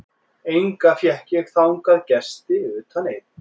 Enga fékk ég þangað gesti utan einn.